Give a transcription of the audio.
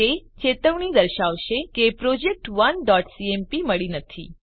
તે ચેતવણી દર્શાવશે કે project1સીએમપી મળી નથી